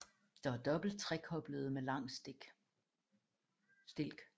De er dobbelt trekoblede med lang stilk